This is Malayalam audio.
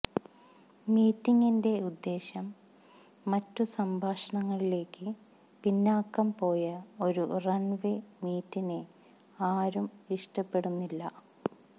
മീറ്റിംഗിന്റെ ഉദ്ദേശ്യം മറ്റു സംഭാഷണങ്ങളിലേക്ക് പിന്നാക്കം പോയ ഒരു റൺവേ മീറ്റിനെ ആരും ഇഷ്ടപ്പെടുന്നില്ല